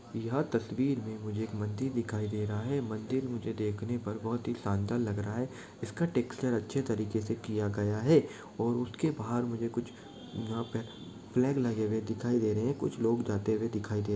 यहाँ तस्वीर में मुझे एक मंदिर दिखाई दे रहा है मंदिर मुझे देखने पर बहुत ही शानदार लग रहा है इसका टेक्सचर अच्छे तरीके से किया गया है और उसके बाहर मुझे कुछ यहाँ पे फ्लैग लगे हुए दिखाई दे रहे है कुछ लोग जाते हुए दिखाई दे --